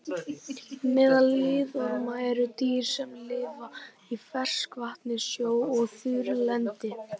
Meðal liðorma eru dýr sem lifa í ferskvatni, sjó og á þurrlendi.